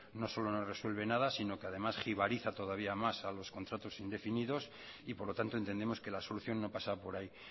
no solo no resuelve nada sino que además jibariza todavía más a los contratos indefinidos y por lo tanto entendemos que la solución no pasa por ahí